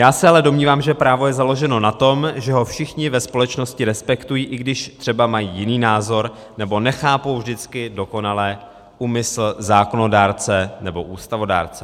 Já se ale domnívám, že právo je založeno na tom, že ho všichni ve společnosti respektují, i když třeba mají jiný názor nebo nechápou vždycky dokonale úmysl zákonodárce nebo ústavodárce.